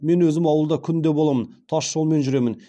мен өзім ауылда күнде боламын тас жолмен жүремін